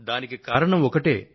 దానికి కారణం ఒక్కటే